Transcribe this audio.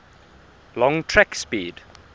long track speed